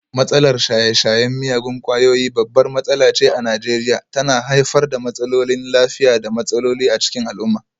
Matsalar shaye-shayen miyagun kwayoyi babbar matsala ce a Najeriya, tana haifar da matsalolin lafiya da matsaloli a cikin al'umma.